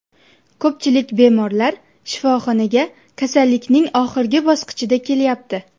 Ko‘pchilik bemorlar shifoxonaga kasallikning oxirgi bosqichida kelyapti.